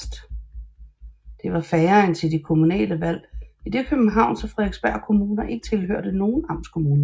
Det var færre end til de kommunale valg idet Københavns og Frederiksberg Kommuner ikke tilhørte nogen amtskommune